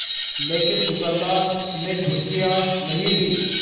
लेकिन दुकानदार ने घुड़कियाँ नहीं दीं